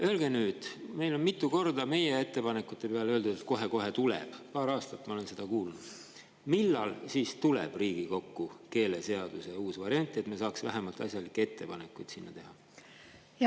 Öelge nüüd – meile on ettepanekute peale mitu korda öeldud, et kohe-kohe tuleb, paar aastat ma olen seda kuulnud –, millal siis tuleb Riigikokku keeleseaduse uus variant, et me saaks vähemalt asjalikke ettepanekuid selle kohta teha.